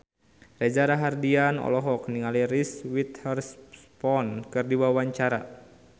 Reza Rahardian olohok ningali Reese Witherspoon keur diwawancara